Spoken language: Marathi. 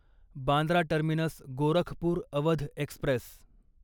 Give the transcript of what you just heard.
Bandra terminus Gorakhpur Awadh Express